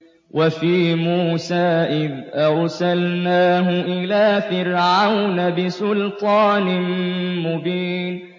وَفِي مُوسَىٰ إِذْ أَرْسَلْنَاهُ إِلَىٰ فِرْعَوْنَ بِسُلْطَانٍ مُّبِينٍ